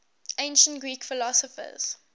ancient greek philosophers